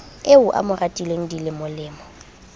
eo a mo ratileng dilemolemo